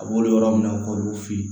A b'olu yɔrɔ min na k'olu fe yen